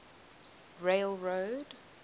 railroad